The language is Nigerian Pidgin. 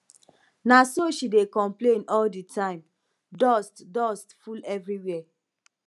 na so she dey complain all the time dust dust full everywhere